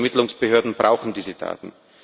Unsere Ermittlungsbehörden brauchen diese Daten!